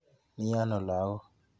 Mi ano lagok?